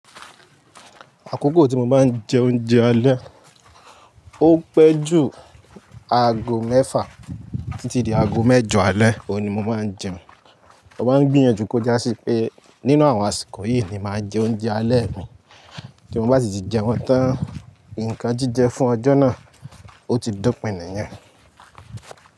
Àkókò tí mo báa ń jẹ oúnjẹ alẹ́, ó pẹ́ ju aago mẹ́fà títí di aago mẹ́jọ alẹ́, òun ni mo máa ń jẹun. Moma ń gbìyànjú kó jásí pé nínú àwọn àsìkò yìí ni mobmáa jẹ oúnjẹ alẹ́ mi tí mo bá sì ti jẹ wọn tán. Ǹkan jíjẹ fún ọjọ́ náà, ó ti do pìnni yẹn.